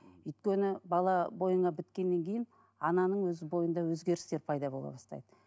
өйткені бала бойыңа біткеннен кейін ананың өзі бойында өзгерістер пайда бола бастайды